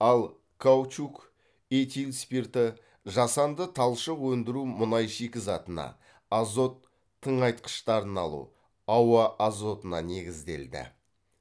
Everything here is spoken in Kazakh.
ал каучук этил спирті жасанды талшық өндіру мұнай шикізатына азот тыңайтқыштарын алу ауа азотына негізделді